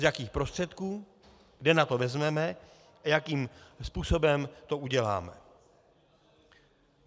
Z jakých prostředků, kde na to vezmeme a jakým způsobem to uděláme.